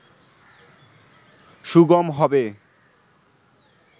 সুগম হবে